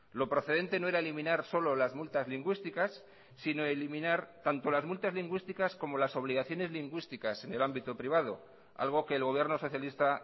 lo procedente no era eliminar solo las multas lingüísticas sino eliminar tanto las multas lingüísticas como las obligaciones lingüísticas en el ámbito privado algo que el gobierno socialista